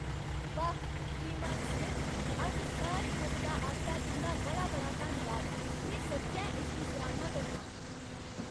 वाह्, श्रीमान स्मिथ, अज्ज सारी मददा आस्तै तुं'दा बड़ा बड़ा धन्नवाद,। में सच्चैं इसदी सराह्ना करनां!